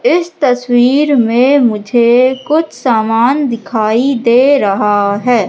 इस तस्वीर में मुझे कुछ सामान दिखाई दे रहा है।